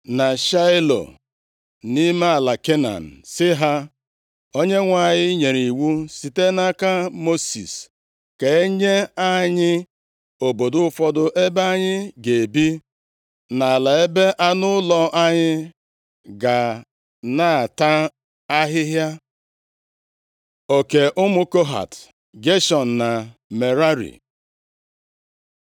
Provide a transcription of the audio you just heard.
na Shaịlo, nʼime ala Kenan, sị ha, “ Onyenwe anyị nyere iwu site nʼaka Mosis ka enye anyị obodo ụfọdụ ebe anyị ga-ebi, na ala ebe anụ ụlọ anyị ga na-ata ahịhịa.” Oke ụmụ Kohat, Geshọn, na Merari